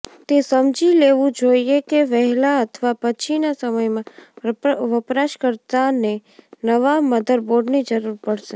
તે સમજી લેવું જોઈએ કે વહેલા અથવા પછીના સમયમાં વપરાશકર્તાને નવા મધરબોર્ડની જરૂર પડશે